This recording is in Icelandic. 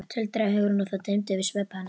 tuldraði Hugrún og það dimmdi yfir svip hennar.